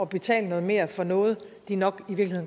betale noget mere for noget de nok